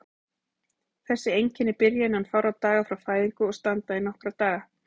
Þessi einkenni byrja innan fárra daga frá fæðingu og standa í nokkra daga.